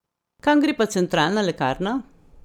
Kam gre pa centralna lekarna ?